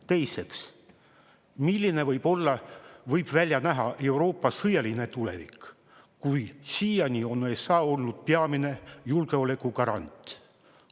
Teiseks, milline võib välja näha Euroopa sõjaline tulevik, kui siiani on USA olnud peamine julgeolekugarant?